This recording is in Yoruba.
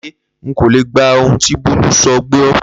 Láyé! N kò lè gba ohun tí Bólú so̩ gbó̩